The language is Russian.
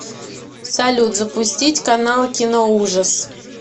салют запустить канал киноужас